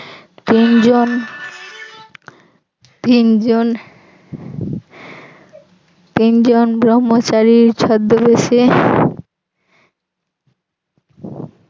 তিনজন তিনজন তিনজন ভ্রম্মচারীর ছদ্মবেশে